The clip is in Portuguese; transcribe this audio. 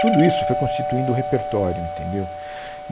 Tudo isso foi constituindo o repertório, entendeu?